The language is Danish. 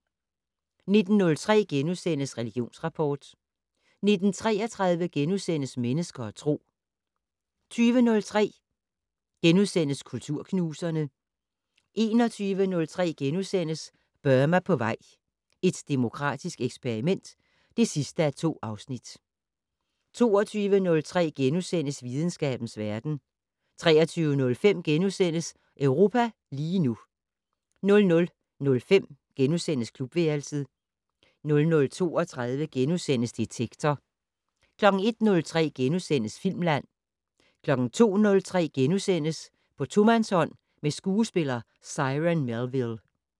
19:03: Religionsrapport * 19:33: Mennesker og Tro * 20:03: Kulturknuserne * 21:03: Burma på vej - et demokratisk eksperiment (2:2)* 22:03: Videnskabens verden * 23:05: Europa lige nu * 00:05: Klubværelset * 00:32: Detektor * 01:03: Filmland * 02:03: På tomandshånd med skuespiller Cyron Melville *